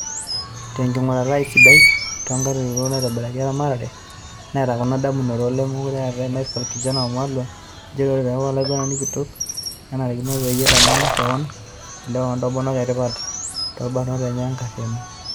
Tenkingurata e siadi toonkitanyanyukoto naitobirai e ramatare, neeta kuna damunoto olemekure eetay Michael Kijana Wamalwa: Njere ore peeku olaiguanani kitok, nenarikino peyie itaman kewan ilewa o ntomonok etipat toorobat enye enkariano.